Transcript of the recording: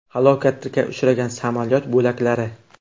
Halokatga uchragan samolyot bo‘laklari.